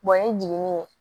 ni jiginni